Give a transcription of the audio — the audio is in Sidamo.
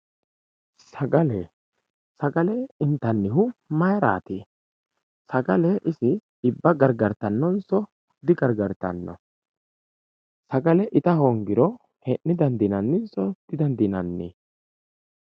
Sagale, sagale intanihu mayirati, sagale isi xibba garigaritanoniso digarigaritano, sagale ita hoongiro hee'ne dandinaninso didandinnanni.